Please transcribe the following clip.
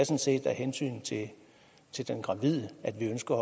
set af hensyn til den gravide at vi ønsker